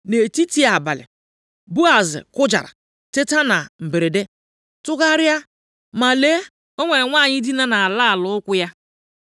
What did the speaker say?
Nʼetiti abalị Boaz kụjara teta na mberede, tụgharịa, ma lee o nwere nwanyị dina nʼala ala ụkwụ ya.